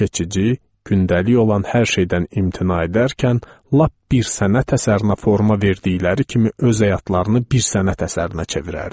Keçici, gündəlik olan hər şeydən imtina edərkən, lap bir sənət əsərinə forma verdikləri kimi öz həyatlarını bir sənət əsərinə çevirərdilər.